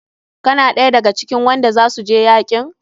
Kana ɗaya da ga cikin wanda za su je yakin?